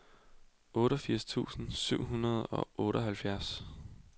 otteogfirs tusind syv hundrede og otteoghalvfjerds